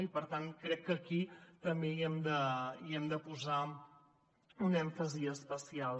i per tant crec que aquí també hi hem de posar un èmfasi especial